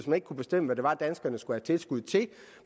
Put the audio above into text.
man kunne bestemme hvad det var danskerne skulle have tilskud til